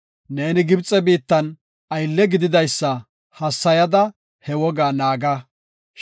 Neeni Gibxe biittan aylle gididaysa hassayada ha wogaa naaga.